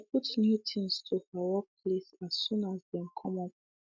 she put new things to her work list as soon as dem come up